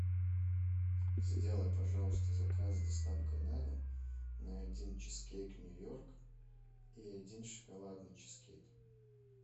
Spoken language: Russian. сделай пожалуйста заказ с доставкой на дом на один чизкейк нью йорк и один шоколадный чизкейк